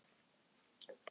Fenguð þið gott kaup?